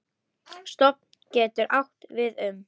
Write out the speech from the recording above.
Stofn getur átt við um